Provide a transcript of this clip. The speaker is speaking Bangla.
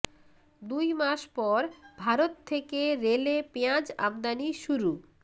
দুই মাস পর ভারত থেকে রেলে পেঁয়াজ আমদানি শুরু